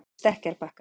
Stekkjarbakka